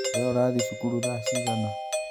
We urathii cukuru thaa cigana?